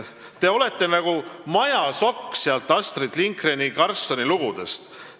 Te olete nagu Majasokk sealt Astrid Lindgreni Karlssoni lugudest.